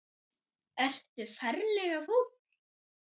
Ertu ferlega fúll?